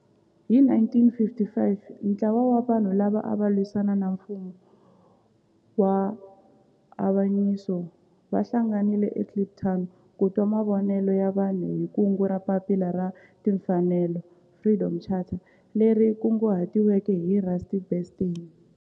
Hi 1955 ntlawa wa vanhu lava ava lwisana na nfumo wa avanyiso va hlanganile eKliptown ku twa mavonelo ya vanhu hi kungu ra Papila ra Tinfanelo, Freedom Charter leri kunguhatiweke hi Rusty Bernstein.